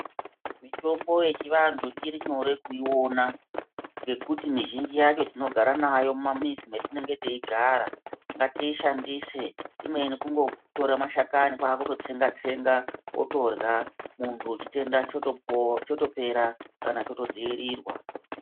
Mitombo yechivantu irinyore kuyiwona, ngekuti mizhinji yacho tinogara nayo mumamizi metinenge tiyigara. Ngatiyishandise, imweni kungotora mashakani kwakutotsenga tsenga, otorya, muntu chitenda chotopera kana choto dzvirirwa.